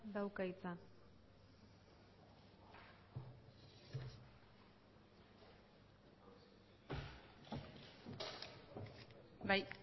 dauka hitza bai